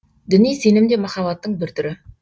діни сенім де махаббаттың бір түрі